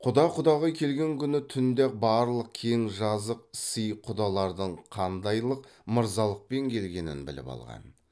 құда құдағи келген күні түнде ақ барлық кең жазық сый құдалардың қандайлық мырзалықпен келгенін біліп қалған